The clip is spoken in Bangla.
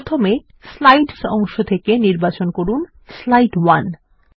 প্রথমে স্লাইডস অংশ থেকে প্রথম স্লাইড নির্বাচন করুন